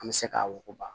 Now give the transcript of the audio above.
An bɛ se k'a wuguba